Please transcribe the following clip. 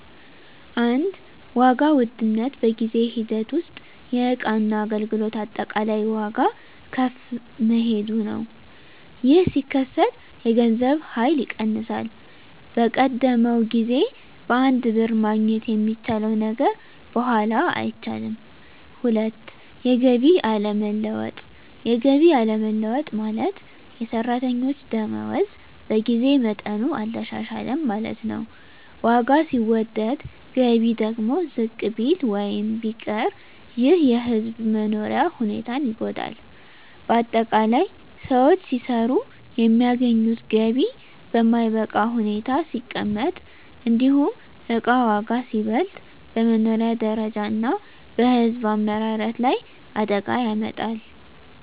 1. ዋጋ ውድነት በጊዜ ሂደት ውስጥ የእቃና አገልግሎት አጠቃላይ ዋጋ ከፍ መሄዱ ነው። ይህ ሲከሰት የገንዘብ ኃይል ይቀንሳል፤ በቀደመው ጊዜ በአንድ ብር ማግኘት የሚቻለው ነገር በኋላ አይቻልም። 2. የገቢ አለመለወጥ የገቢ አለመለወጥ ማለት፣ የሰራተኞች ደመወዝ በጊዜ መጠኑ አልተሻሻለም ማለት ነው። ዋጋ ሲወደድ ገቢ ደግሞ ዝቅ ቢል ወይም ቢቀር ይህ የሕዝብ መኖሪያ ሁኔታን ይጎዳል። ✅ በአጠቃላይ: ሰዎች ሲሰሩ የሚያገኙት ገቢ በማይበቃ ሁኔታ ሲቀመጥ፣ እንዲሁም እቃ ዋጋ ሲበልጥ፣ በመኖሪያ ደረጃ እና በሕዝብ አመራረት ላይ አደጋ ያመጣል።